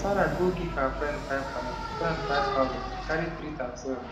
sarah go give her friend five thousand friend five thousand to carry treat herself